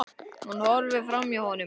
Hún horfir framhjá honum.